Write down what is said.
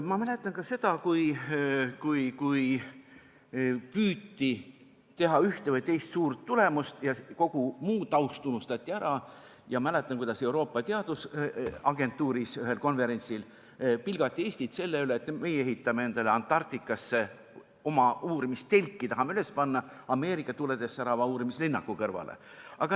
Ma mäletan ka seda, kui püüti teha ühte või teist ja jõuda suure tulemuseni ning kogu muu taust unustati ära, ja mäletan, kuidas Euroopa Teadusagentuuris ühel konverentsil pilgati Eestit selle pärast, et meie ehitame endale Antarktikasse oma uurimistelki ja tahame selle üles panna Ameerika tuledes särava uurimislinnaku kõrvale.